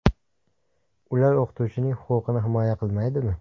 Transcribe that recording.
Ular o‘qituvchining huquqini himoya qilmaydimi?